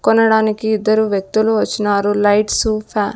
కొనడానికి ఇద్దరు వ్యక్తులు వచ్చినారు లైట్స్ ఫ--